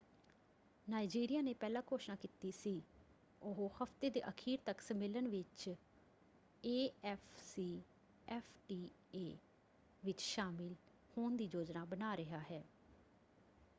ਨਾਇਜ਼ੀਰੀਆ ਨੇ ਪਹਿਲਾਂ ਘੋਸ਼ਣਾ ਕੀਤੀ ਸੀ ਉਹ ਹਫਤੇ ਦੇ ਅਖੀਰ ਤੱਕ ਸੰਮੇਲਨ ਵਿੱਚ ਏਐਫਸੀਐਫਟੀਏ ਵਿੱਚ ਸ਼ਾਮਿਲ ਹੋਣ ਦੀ ਯੋਜਨਾ ਬਣਾ ਰਿਹਾ ਹੈ।